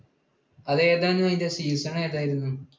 അത് ഏതാണ്, അതിൻറ season ഏതായിരുന്നു?